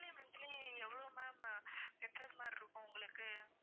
monthly monthly எவ்வளவு ma'am ஆஹ் கட்டுறது மாதிரி இருக்கும் உங்களுக்கு